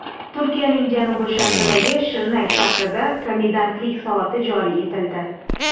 Turkiyaning janubi-sharqidagi Shirnak shahrida komendantlik soati joriy etildi.